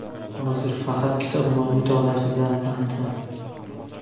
Hozir faqat kitob mutolaasi bilan bandman.